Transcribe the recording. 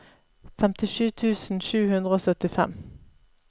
femtisju tusen sju hundre og syttifem